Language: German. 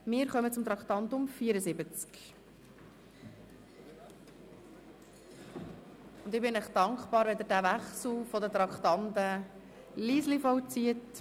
Wir kommen zum Traktandum 76, und ich bin Ihnen dankbar, wenn Sie den Traktandenwechsel jeweils leise vollziehen.